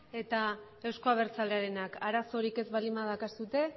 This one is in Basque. eta euzko abertzalearenak arazorik ez baldin badaukazue